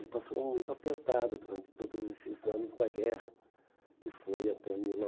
Ele passou muito apertado durante todos esses anos da guerra, que foi até mil